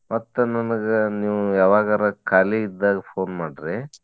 ಮತ್ತ ನನಗ ನೀವ್ ಯಾವಾಗರಾ ಖಾಲಿ ಇದ್ದಾಗ phone ಮಾಡ್ರಿ.